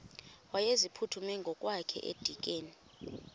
wayeziphuthume ngokwakhe edikeni